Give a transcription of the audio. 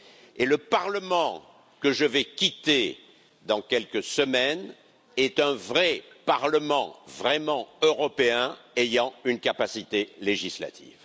Et le Parlement que je vais quitter dans quelques semaines est un vrai Parlement, vraiment européen, ayant une capacité législative.